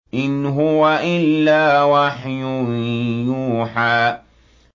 إِنْ هُوَ إِلَّا وَحْيٌ يُوحَىٰ